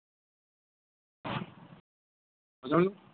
hello